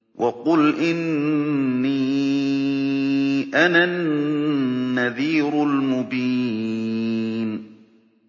وَقُلْ إِنِّي أَنَا النَّذِيرُ الْمُبِينُ